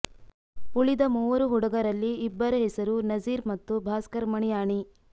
ಉಳಿದ ಮೂವರು ಹುಡುಗರಲ್ಲಿ ಇಬ್ಬರ ಹೆಸರು ನಜೀರ್ ಮತ್ತು ಭಾಸ್ಕರ ಮಣಿಯಾಣಿ